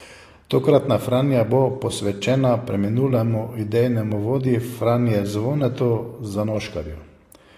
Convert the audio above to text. Tokratna Franja bo posvečena preminulemu idejnemu vodji Franje Zvonetu Zanoškarju.